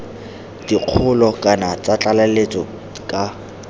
dikgolo kana tsa tlaleletso ka